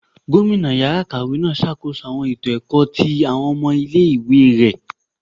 Gomina ìyára ikáwe n ṣakoso awọn eto ẹkọ ti awọn ọmọ ìlé-ìwé rẹ.